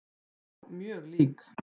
Já, mjög lík.